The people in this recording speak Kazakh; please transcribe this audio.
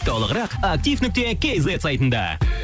толығырақ актив нүкте кейзет сайтында